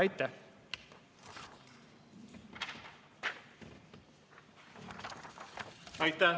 Aitäh!